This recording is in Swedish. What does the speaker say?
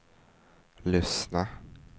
lyssna